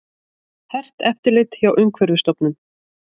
Hert eftirlit hjá Umhverfisstofnun